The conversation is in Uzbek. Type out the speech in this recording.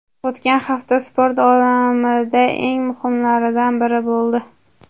O‘tgan hafta sport olamida eng muhimlaridan biri bo‘ldi.